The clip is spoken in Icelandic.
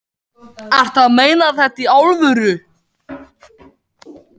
Ertu að meina þetta í alvöru?